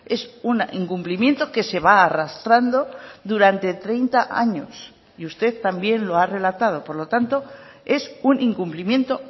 es un incumplimiento que se va arrastrando durante treinta años y usted también lo ha relatado por lo tanto es un incumplimiento